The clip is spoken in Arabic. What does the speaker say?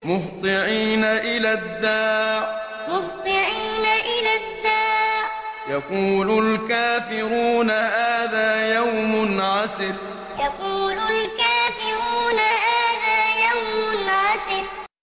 مُّهْطِعِينَ إِلَى الدَّاعِ ۖ يَقُولُ الْكَافِرُونَ هَٰذَا يَوْمٌ عَسِرٌ مُّهْطِعِينَ إِلَى الدَّاعِ ۖ يَقُولُ الْكَافِرُونَ هَٰذَا يَوْمٌ عَسِرٌ